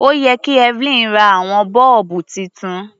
Ó yẹ kí Evelyn ra àwọn bọ́ọ̀bù titun.